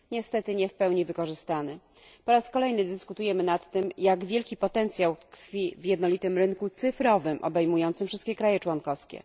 Niestety, nie w pełni wykorzystanym. Po raz kolejny dyskutujemy nad tym, jak wielki potencjał tkwi w jednolitym rynku cyfrowym obejmującym wszystkie państwa członkowskie.